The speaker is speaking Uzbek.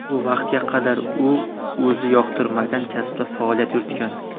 Bu vaqtga qadar u o‘zi yoqtirmagan kasbda faoliyat yuritgan”.